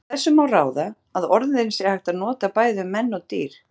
Af þessu má ráða að orðin sé hægt að nota bæði um menn og dýr.